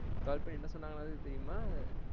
Call பண்ணி என்ன சொன்னாங்கலாது தெரியுமா?